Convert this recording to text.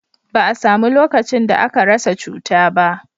ba a samu lokacin da aka rasa cuta ba